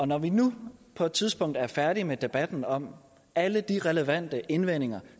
når vi nu på et tidspunkt er færdige med debatten om alle de relevante indvendinger